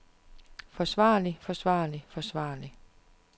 forsvarlig forsvarlig forsvarlig